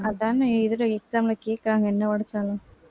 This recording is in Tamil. அதானே exam ல கேக்குறாங்க இன்னவரைக்கும்